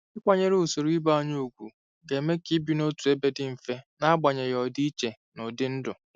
Ịkwanyere usoro ibe anyị ùgwù ga-eme ka ibi n'otu ebe dị mfe n'agbanyeghị ọdịiche n'ụdị ndụ.